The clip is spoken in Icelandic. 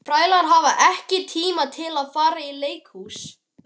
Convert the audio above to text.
Þrælar hafa ekki tíma til að fara í leikhús.